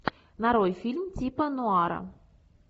нарой фильм типа нуара